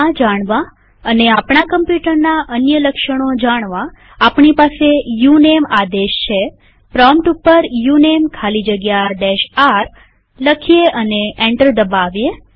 આ જાણવા અને આપણા કમ્પ્યુટરના અન્ય લક્ષણો જાણવા આપણી પાસે ઉનમે આદેશ છેપ્રોમ્પ્ટ ઉપર ઉનમે ખાલી જગ્યા r લખીએ અને એન્ટર દબાવીએ